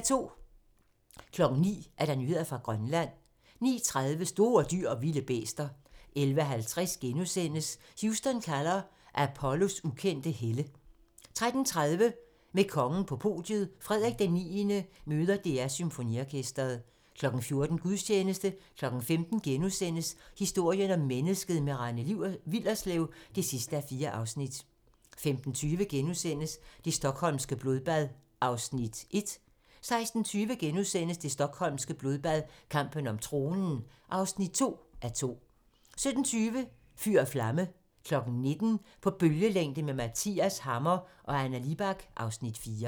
09:00: Nyheder fra Grønland 09:30: Store dyr & vilde bæster 11:50: Houston kalder - Apollos ukendte helte * 13:30: Med kongen på podiet - Frederik IX møder DR Symfoniorkestret 14:00: Gudstjeneste 15:00: Historien om mennesket - med Rane Willerslev (4:4)* 15:20: Det stockholmske blodbad (1:2)* 16:20: Det stockholmske blodbad - kampen om tronen (2:2)* 17:20: Fyr & flamme 19:00: På bølgelængde med Mathias Hammer & Anna Libak (Afs. 4)